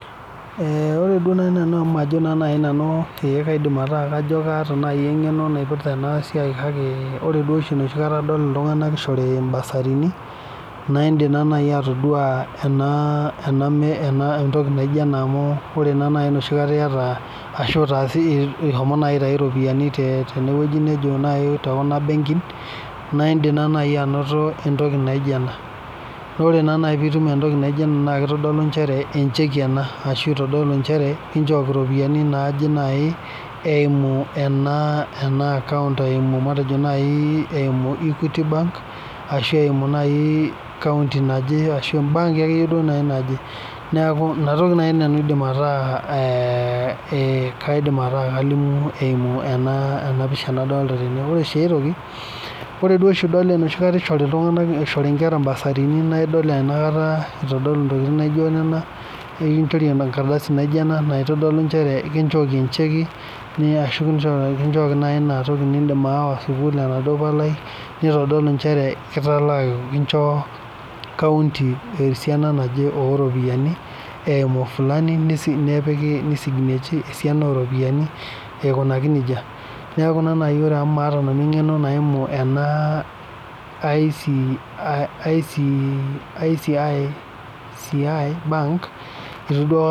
Ore duo naaji amu maajo kaidim ataakataa eng'eno naipirta ena siai kake duo oshi adolita iltung'ana enoshi kata eishori basarinu naa edim atodua entoki naijio ena adh etaasishe ehomo atau eropiani tekuna benkin naa edim naaji anoto entoki naijio ena naa tenitum naaji entoki naijio ena naa kitodolu Ajo echeki ena ashu kitodolu Ajo kichoki eropiani naaje eyimu ena account eyimu matejo naaji equity bank ashu eyimu county ashu baanki akeyie naaji neeku ena toki naaji nanu aidim ataa kalimu eyimu ena pisha nadolita ore sii aitoki ore oshi tenidol esishore Nkera bursarini naidol enoshi kata eitodolu ntokitin naijio Nena nikinchori enkardasi naijio ena naitodolu Ajo kinchoki echeki Niya ashi kichooki naaji enaduo palai nidim awa sukuul neitodolu nchere kinjoo county esiana naaje oo ropiani eyimu benki Fulani nisignechi esiana oo ropiani aikunaki nejia neeku amu maata nanu eng'eno ee ACIA bank neeku duo